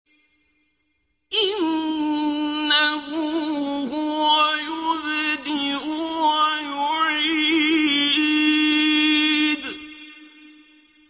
إِنَّهُ هُوَ يُبْدِئُ وَيُعِيدُ